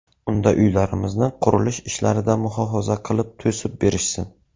Unda uylarimizni qurilish ishlaridan muhofaza qilib to‘sib berishsin.